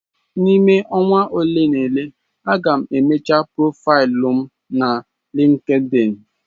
N'ime ọnwa ole na ole, a ga m emecha profaịlụ m na LinkedIn.